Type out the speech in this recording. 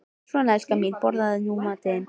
Svona, elskan mín, borðaðu nú matinn þinn.